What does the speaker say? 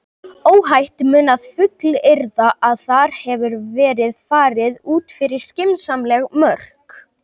Óhætt mun að fullyrða að þar hefur verið farið út fyrir skynsamleg mörk.